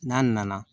N'a nana